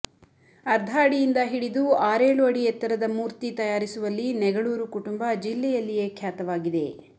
ಅರ್ಧ ಅಡಿಯಿಂದ ಹಿಡಿದು ಆರೇಳು ಅಡಿ ಎತ್ತರದ ಮೂರ್ತಿ ತಯಾರಿಸುವಲ್ಲಿ ನೆಗಳೂರು ಕುಟುಂಬ ಜಿಲ್ಲೆಯಲ್ಲಿಯೇ ಖ್ಯಾತವಾಗಿದೆ